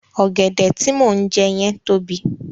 Ọ̀gẹ̀dẹ̀ tí mò ń jẹ yẹn tóbi.